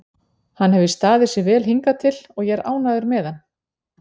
Hann hefur staðið sig vel hingað til og ég er ánægður með hann.